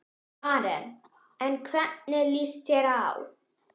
Karen: En hvernig lýst þér á?